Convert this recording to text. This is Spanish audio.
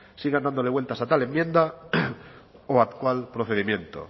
sigan dándole vueltas a tal enmienda o a cuál procedimiento